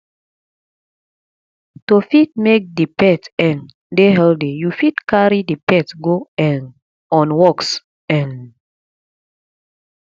to fit make di pet um dey healthy you fit carry di pets go um on walks um